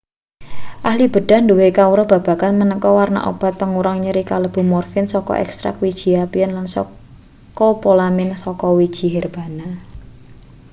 ahli bedhah duwe kawruh babagan maneka warna obat pengurang nyeri kalebu morfin saka ekstrak wiji apiun lan skopolamin saka wiji herbana